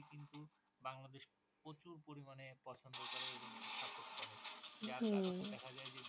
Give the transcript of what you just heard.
কিন্তু বাংলাদেশ প্রচুর পরিমানে পছন্দ করে এবং support করে যার কারণে দেখা যায় যে